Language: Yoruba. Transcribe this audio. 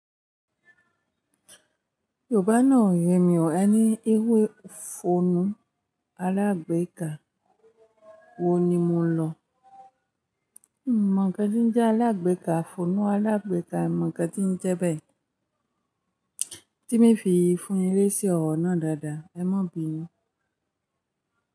Yorùbá náà ò yẹ mi ò ẹ ni ewé fòonú alágbéka ohun ni mo lọ. N mọ̀ nkan ti n jẹ́ alágbéka, fòonú alágbéka, n mọ̀ nkan ti n jẹ bẹ́ẹ̀. Tí mii fi fún yín lésí ọ̀rọ̀ náà dáadáa, ẹ mọ̀ bínu.